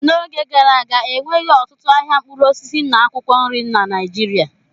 N'oge gara aga, enweghị ọtụtụ ahịa mkpụrụ osisi na akwụkwọ nri na Naịjirịa.